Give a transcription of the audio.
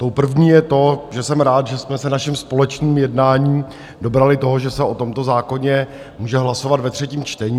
Tou první je to, že jsem rád, že jsme se naším společným jednáním dobrali toho, že se o tomto zákoně může hlasovat ve třetím čtení.